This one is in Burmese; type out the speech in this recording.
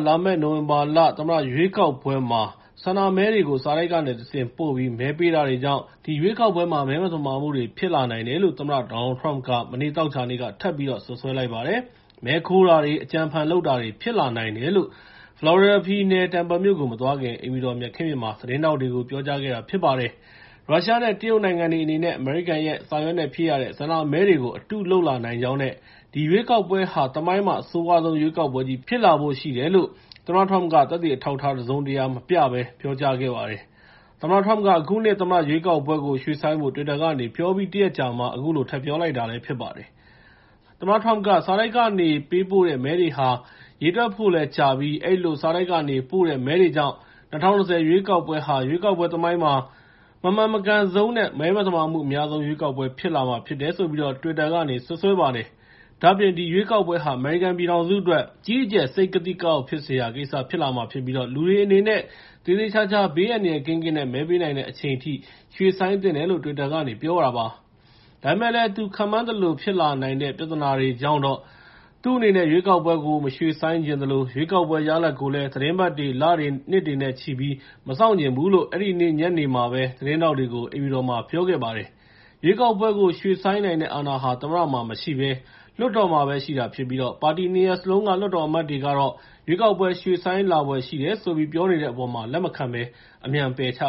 လာမယ့် နိုဝင်ဘာလ အမေရိကန်သမ္မတ ရွေးကောက်ပွဲမှာ ဆန္ဒမဲတွေကို စာတိုက်ကနေတဆင့် ပို့ပြီး မဲပေးတာတွေကြောင့် ဒီရွေးကောက်ပွဲမှာ မဲသမာမှုတွေ ဖြစ်လာနိုင်တယ်လို့ သမ္မတ Donald Trump က မနေ့ သောကြာနေ့က ထပ်ပြီးတော့ စွပ်စွဲလိုက်ပါတယ်။ မဲခိုးတာတွေ၊ အကြံအဖန်လုပ်တာတွေ ဖြစ်လာနိုင်တယ်လို့ ဖလော်ရီဒါပြည်နယ် Tampa မြို့ကို မသွားခင် အိမ်ဖြူတော် မြက်ခင်းပြင်မှာ သတင်းထောက်တွေကို ပြောကြားခဲ့တာ ဖြစ်ပါတယ်။ ရုရှားနဲ့ တရုတ်နိုင်ငံတွေ အနေနဲ့ အမေရိကန်ရဲ့ စာရွက်နဲ့ဖြည့်ရတဲ့ ဆန္ဒမဲတွေကို အတုလုပ်လာနိုင်ကြောင်းနဲ့ ဒီရွေးကောက်ပွဲကာ သမိုင်းမှာ အဆိုးရွားဆုံး ရွေးကောက်ပွဲကြီး ဖြစ်လာဖို့ရှိတယ်လို့ သမ္မတ Trump က သက်သေအထောက်အထား တစုံတရာ မပြဘဲ ပြောကြားလိုက်ပါတယ်။ သမ္မတ Trump က အခုနှစ် သမ္မတရွေးကောက်ပွဲကို ရွှေ့ဆိုင်းဖို့ တွစ်တာကနေ ပြောပြီး တရက်အကြာမှာ အခုလို ထပ်ပြောလိုက်တာ ဖြစ်ပါတယ်။ သမ္မတ Trump က စာတိုက်ကနေ ပေးပို့တဲ့ မဲတွေဟာ ရေတွက်ဖို့လည်းကြာပြီး အဲဒီလို စာတိုက်ကနေပို့တဲ့ မဲတွေကြောင့် ၂၀၂၀ ရွေးကောက်ပွဲဟာ ရွေးကောက်ပွဲသမိုင်းမှာ မမှန်မကန်ဆုံးနဲ့ မသမာမှုအများဆုံး ရွေးကောက်ပွဲ ဖြစ်လာမှာဖြစ်တယ်လို့ တွစ်တာကနေ စွပ်စွဲလိုက်ပါတယ်။ ဒါ့အပြင် ဒီရွေးကောက်ပွဲဟာ အမေရိကန်ပြည်ထောင်စုအတွက် အကြီးအကျယ် စိတ်ကသိကအောက် ဖြစ်စရာကိစ္စ ဖြစ်လာမှာဖြစ်ပြီး လူတွေအနေနဲ့ သေသေချာချာ ဘေးအန္တရာယ်ကင်းကင်း မဲပေးနိုင်တဲ့ အချိန်အထိ ရွှေ့ဆိုင်းသင့်တယ်လို့ တွစ်တာကနေ ပြောလိုက်ပါတယ်။ ဒါပေမယ့်လည်း သူခန့်မှန်းသလို ဖြစ်လာနိုင်တဲ့ ပြဿနာတွေကြောင့်တော့ သူ့အနေနဲ့ ရွေးကောက်ပွဲကို မရွှေ့ဆိုင်းချင်သလို ရွေးကောက်ပွဲ ရလဒ်ကိုလည်း သီတင်းပတ်တွေ၊ လတွေ၊ နှစ်တွေနဲ့ချီပြီး မစောင့်ချင်ဘူးလို့ အဲဒီနေ့ညနေမှာပဲ သတင်းထောက်တွေကို အိမ်ဖြူတော်မှာ ပြောပါတယ်။ ရွေးကောက်ပွဲကို ရွှေ့ဆိုင်းနိုင်တဲ့ အာဏာဟာ သမ္မတမှာမရှိဘဲ လွှတ်တော်မှာပဲ ရှိတာဖြစ်ပြီး ပါတီ ၂ ရပ်စလုံးက လွှတ်တော်အမတ်တွေကတော့ ရွေးကောက်ပွဲ ရွှေ့ဆိုင်းလာဖွယ် ရှိတယ်ဆိုပြီး ပြောနေတဲ့အပေါ်မှာ လက်မခံဘဲ အမြန်ပယ်ချ